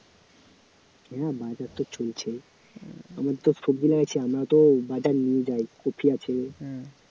হ্যাঁ বাজার তো চলছে আমার তো সবজি আছে আমরা তো বাজার নিয়ে যাই কপি আছে